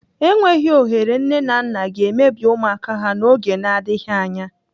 Enweghị ohere nne na nna ga-emebi ụmụaka ha n'oge n'adịghị anya.